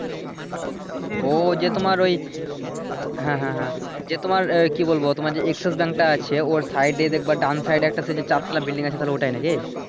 ওই যে তোমার ঐ হ্যাঁ হ্যাঁ হ্যাঁ যে তোমার আহ কি বলবো তোমার এক্সেস ব্যাংকটা আছে ওর সাইডে দেখবা ডান সাইডে একটা আছে যে চারতালা বিল্ডিং আছে তাহলে ঐটাই নাকি।